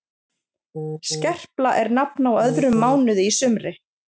skerpla er nafn á öðrum mánuði í sumri